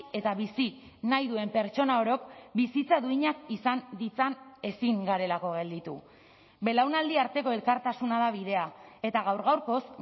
eta bizi nahi duen pertsona orok bizitza duinak izan ditzan ezin garelako gelditu belaunaldi arteko elkartasuna da bidea eta gaur gaurkoz